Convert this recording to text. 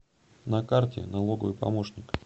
на карте налоговый помощник